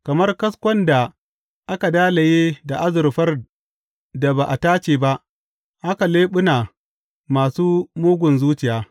Kamar kaskon da aka dalaye da azurfar da ba a tace ba haka leɓuna masu mugun zuciya.